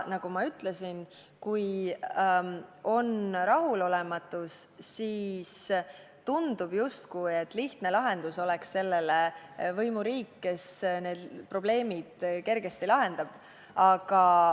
Nagu ma ütlesin, kui on rahulolematus, siis tundub, justkui oleks lihtne lahendus võimuriik, kes need probleemid kergesti lahendab.